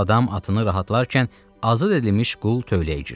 Bu adam atını rahatlatkən azad edilmiş qul tövləyə girdi.